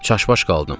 Çaşbaş qaldım.